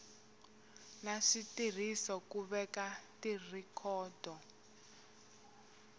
na switirhiso ku veka tirhikhodo